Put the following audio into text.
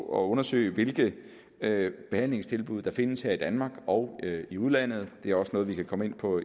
at undersøge hvilke behandlingstilbud der findes her i danmark og i udlandet det er også noget vi kan komme ind på